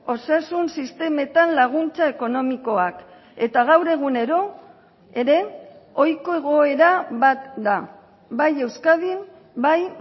osasun sistemetan laguntza ekonomikoak eta gaur egunero ere ohiko egoera bat da bai euskadin bai